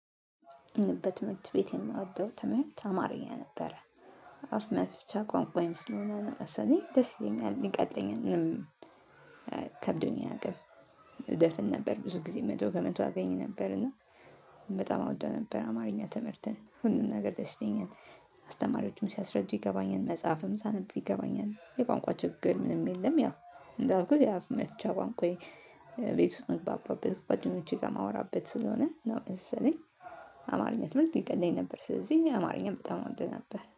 እኔ በትምህርት ቤት የምወደው ትምህርት አማርኛ ነበረ ንደበት መልእክት ቤት የማወደው ተመርቶ አማርኛ ነበረ። አፍ መፍቻ ቋንቋዬም ስለሆነ እኔ ደስ ይለኛል ይቀለኛል እኔም ከብዶኝ አያቅም። እደፍን ነበር ብዙ ጊዜ መቶ ከመቶ አገኝ ነበር እና በጣም አወደው ነበር። አማርኛ ትምህርትን ሁሉን ነገር ደስ ይለኛል። አስተማሪዎችም ሲያስረዱ ይገባኛል መጽሐፍም ሳነብ ይገባኛል የቋንቋ ችግር ምንም የለም። ያው እንደ አልኩት ያፍ መፍቻ ቋንቋየ። ቤት ውስጥ ምግባባበት ጓደኞቼ ጋ ማወራበት ስለሆነ ነው መሰለኝ። አማርኛ ትምህርት ይቀለኝ ነበር ስለዚህ አማርኛን በጣም እወደው ነበር።